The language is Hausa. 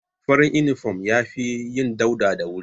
Farin inifom ya fi yin dauɗa da wuri